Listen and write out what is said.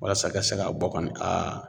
Walasa ka se ka bɔ kɔni .